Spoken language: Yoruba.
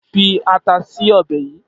Fi ata si ọbẹ̀ yìí!